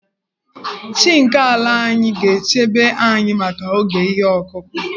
Chi nke ala anyị ga-echebe anyị maka oge ihe ọkụkụ.